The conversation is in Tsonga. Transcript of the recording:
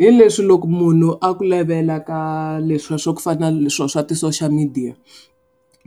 Hi leswi loko munhu a ku levela ka leswiya swa ku fana swilo swa ti social media.